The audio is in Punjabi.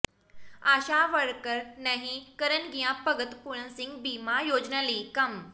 ਆਸ਼ਾ ਵਰਕਰ ਨਹੀਂ ਕਰਨਗੀਆਂ ਭਗਤ ਪੂਰਨ ਸਿੰਘ ਬੀਮਾ ਯੋਜਨਾ ਲਈ ਕੰਮ